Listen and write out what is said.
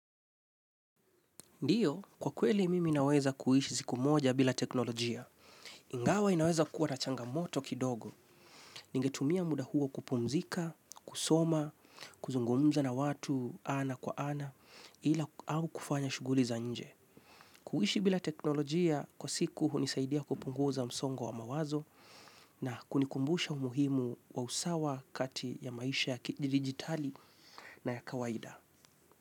Ndio, kwa kweli mimi naweza kuishi siku moja bila teknolojia. Ingawa inaweza kuwa na changamoto kidogo. Ningetumia muda huo kupumzika, kusoma, kuzungumza na watu ana kwa ana, ila au kufanya shughuli za nje. Kuishi bila teknolojia kwa siku hunisaidia kupunguza msongo wa mawazo na kunikumbusha umuhimu wa usawa kati ya maisha ya digitali na ya kawaida.